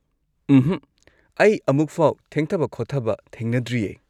ꯎꯝꯍꯛ, ꯑꯩ ꯑꯃꯨꯛꯐꯥꯎ ꯊꯦꯡꯊꯕ-ꯈꯣꯠꯊꯕ ꯊꯦꯡꯅꯗ꯭ꯔꯤꯌꯦ꯫